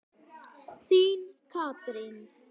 Þín Katrín.